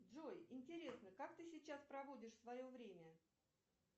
джой интересно как ты сейчас проводишь свое время